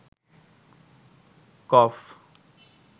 কফ